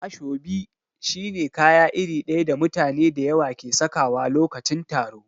Ashobi shi ne kaya iri daya da mutane da yawa ke sakawa lokacin taro.